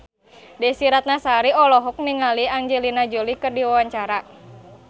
Desy Ratnasari olohok ningali Angelina Jolie keur diwawancara